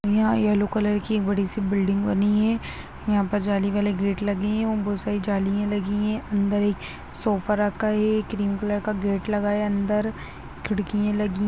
यहाँ yellow colour की एक बड़ी सी बिल्डिंग बनी है यहाँ पर जाली वाला गेट लगे है उनमें बहुत सारी जाली लगी है और अंदर एक सोफ लगा है क्रीम कलर का गेट लगा है अन्दर खिड़कियां लगी हैं--